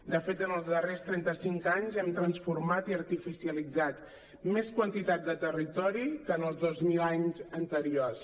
de fet en els darrers trenta cinc anys hem transformat i artificialitzat més quantitat de territori que en els dos mil anys anteriors